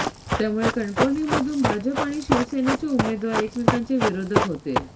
त्यामुळे कणकवलीमधून भाजप आणि शिवसेनेचे उमेदवार एकमेकांचे विरोधक होते